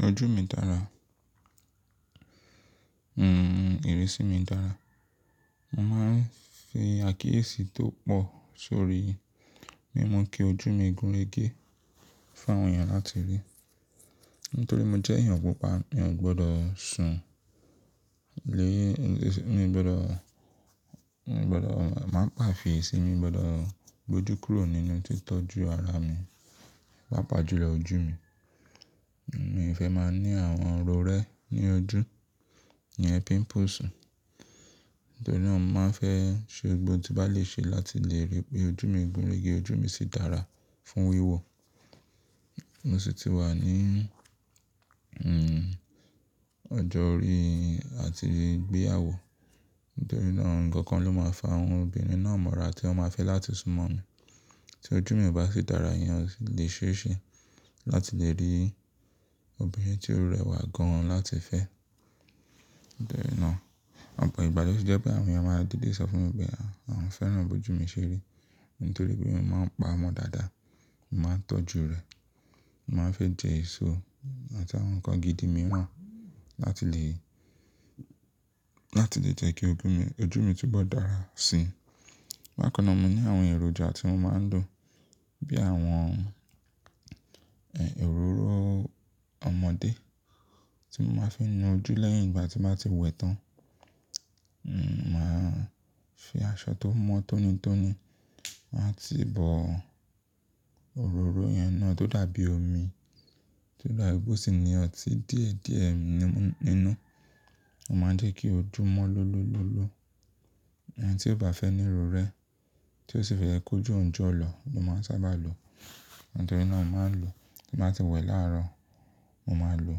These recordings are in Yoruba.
Ojú mi dára. Hmm, ìrísí mi dára. Mo máa ń fi àkíyèsí tó pọ̀ sórí bí mo kí ojú mi gúnregé fún àwọn èèyàn láti rí. Nítorí mo jẹ́ èèyàn pupa, mi ò gbọdọ̀ sùn lé, mi ò gbọdọ̀, mi ò gbọdọ̀ máa pàfìí sí i, mi ò gbọdọ̀ gbojú kúrò nínú títọ́jú ara mi, pàápàá jùlọ ojú mi. Mi ò fẹ́ máa ní àwọn oró rẹ́ ní ojú, ìyẹn pimples. Nítorí náà, mo máa ń fẹ́ ṣe ohun gbogbo tí bá lè ṣe láti lè rí pé ojú mi gúnregé, ojú mi sì dára fún wíwọ̀. Mo sì ti wà ní, hmm, ọjọ́ orí àti gbéyàwó. Nítorí náà, nǹkan kan ló máa ń fa àwọn obìnrin náà mọ́ra tí wọ́n ma fẹ́ láti súnmọ́ mi. Tí ojú mi ò bá sì dára, ìyẹn ò lè ṣe é ṣe láti lè rí obìnrin tí ó rẹwà gan-an láti fẹ́. Nítorí náà, ọ̀pọ̀ ìgbà ló fi jẹ́ pé àwọn èèyàn máa ń dìde sọ fún mi pé àwọn fẹ́ràn bí ojú mi ṣe rí. Nítorí pé mo máa ń pa ọmọ dáadáa, mo máa ń tọ́jú rẹ̀, mo máa ń fi jẹ èso àti àwọn nǹkan gidi mìíràn láti lè, láti lè jẹ́ kí oju mi, ojú mi túbọ̀ dára sí i. Bá kan náà, mo ní àwọn èròjà tí mo máa ń lò bí i àwọn, ẹ́, òróró ọmọdé tí mo máa ń fi na ojú lẹ́yìn ìgbà tí mo bá ti wẹ tán. Mò máa ń fi aṣọ tó mọ́ tónitóni, màá ti bọ òróró ìyẹn náà tó dàbí omi, tó dàbí gbó sì ní ọtí díẹ̀díẹ̀ nínú. Ó máa ń jẹ́ kí ojú mọ́ lọ́lọ́lọ́lọ́. Ẹ̀ni tí ó bá fẹ́ ní ìrù rẹ́, tí ó sì fẹ́ ẹ kú jù ńjọ́ lọ, ló máa ń sábà lo. Nítorí náà, mo máa ń lò tí mo bá ti wẹ láàárọ̀, mo máa lò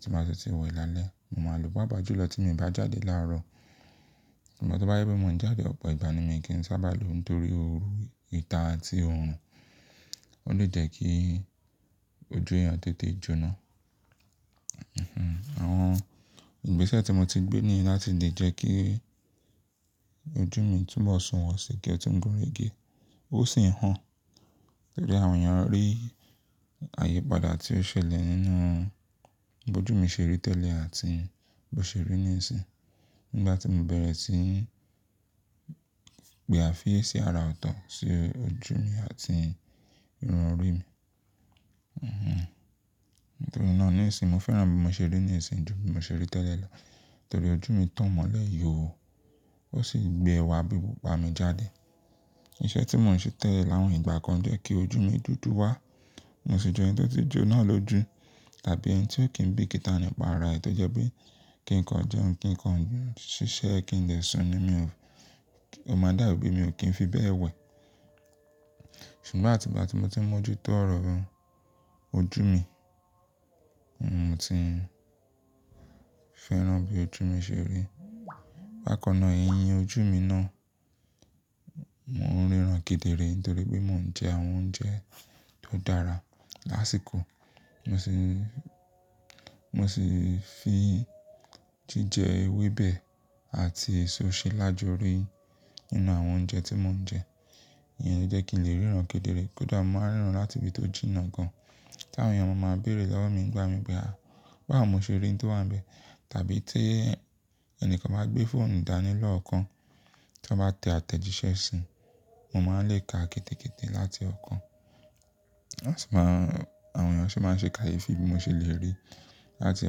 tí mo bá ti wẹ lálẹ́, mo máa lò. Páápàá jùlọ tí mo bá jáde láàárọ̀. Ṣùgbọ́n tí bá jé pé mo ń jáde ọ̀pọ̀ ìgbà ni mi kì í sábà lo nítorí òru, ìta àti òòrùn, ó lè jẹ́ kí ojú èèyàn tètè jóná. Hmm, àwọn ìgbésẹ̀ tí mo ti gbé ní láti lè jẹ́ kí ojú mi túbọ̀ sùn wọ̀sì, kí ẹ tó ń gúnregé, ó sì ń hàn. Torí àwọn èèyàn rí àyípadà tí ó ṣẹlẹ̀ nínú bí ojú mi ṣe rí tẹ́lẹ̀ àti bí ó ṣe rí nísìí. Nígbà tí mo bẹ̀rẹ̀ sí í gbé àfíì ẹ sí ara ọ̀tọ̀, sí ojú mi àti irun orí mi. Hmm, nítorí náà, nísìí mo fẹ́ràn bí mo ṣe rí nísìí jù bí mo ṣe rí tẹ́lẹ̀ lọ. Nítorí ojú mi tàn mọ́lẹ̀ yóò, ó sì gbé ẹwà bíi pupa mi jáde. Ìṣẹ́ tí mò ń ṣe tẹ́lẹ̀ láwọn ìgbà kan jẹ́ kí ojú mi dúdú wá. Mo sì jẹ ẹni tó ti jo náà lójú. Tàbí ẹni tí ò kí ń bí ìkìtà nípa ara ẹ, tó jẹ́ pé kí nǹkan jẹun, kí nǹkan ṣiṣẹ́, kí ń dẹ̀ sùn ni mi ò, ó máa dàbí pé mi ò kí ń fi bẹ́ẹ̀ wẹ̀. Ṣùgbọ́n àti ìgbà tí mo ti mọ́jútó ọ̀rọ̀ ojú mi, mo ti fẹ́ràn bí ojú mi ṣe rí. Bá kan náà, ẹ̀yìn ojú mi náà, mò ń ríran kedere nítorí pé mò ń jẹ àwọn oúnjẹ tó dára lásìkò. Mo sì, mo sì fi jíjẹ ewébẹ̀ àti èso ṣe lájúri nínú àwọn oúnjẹ tí mò ń jẹ. Ìyẹn ló jẹ́ kí n lè ríran kedere. Kódà mo máa ń ríran láti ibi tó jìnnà gan-an. Tí àwọn èèyàn bá máa ń béèrè lọ́wọ́ mi nígbà mìíràn pé à, báwo ni mo ṣe rí i tó wà níbẹ̀? Tàbí tí ẹni kan bá gbé fóònù ìdánilọ́ kan tí wọ́n bá tẹ àtẹ̀jíṣẹ́ sí i, mo máa ń lè ka kété kété láti ọkàn. Wọ́n sì máa ń, àwọn èèyàn sì máa ń ṣe kààyè fi bí mo ṣe lè rí láti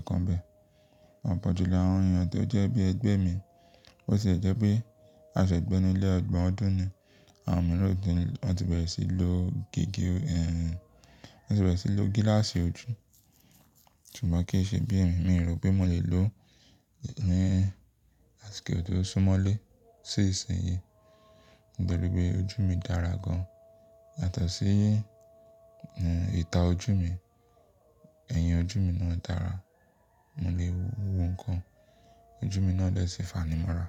ọkàn bẹ́ẹ̀. Ọ̀pọ̀jùlọ àwọn èèyàn tó jẹ́ bí ẹgbẹ́ mi, ó sì jẹ́ pé aṣọ ìgbẹ́ ni ilé ọgbọ̀n ọdún ni, àwọn mìíràn ló ti bẹ̀rẹ̀ sí í lo gègé, ẹh, wọ́n sì bẹ̀rẹ̀ sí í lo gíláàsì ojú. Ṣùgbọ́n kí í ṣe bí ì mi, mi rò pé mò lè lo ní asiko tó súnmọ́lé sí ìsinyìí. Nítori pé ojú mi dára gan-an. Yàtọ̀ sí, n, ìta ojú mi, ẹ̀yìn ojú mi náà dára. Mo lè wo kan, ojú mi náà lè sì fanímọ́ra.